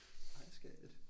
Ej skat